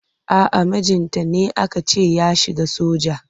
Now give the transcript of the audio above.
A'a mijinta ne aka ce ya shiga soja.